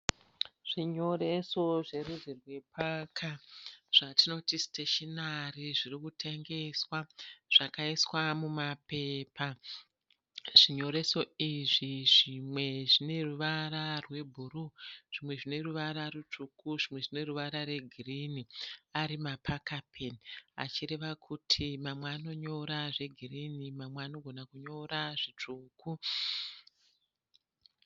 Zvinyoreso zverudzi rwe paka. Zvatinoti stationary zvirikutengeswa. Zvakaiswa muma pepa. Zvinyoreso izvi zvimwe zvineruva rwebhuruu, zvimwe zvine ruvara rutsvuku, zvinwe zvine ruvara re girinhi ari ma paka peni. Achireva kuti mamwe anonyora zve girinhi mamwe anogona kunyora zvitsvuku.